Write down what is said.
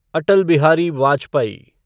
Atal Bihari Vajpayee